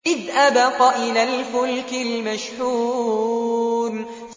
إِذْ أَبَقَ إِلَى الْفُلْكِ الْمَشْحُونِ